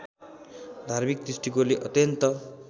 धार्मिक दृष्टिकोणले अत्यन्त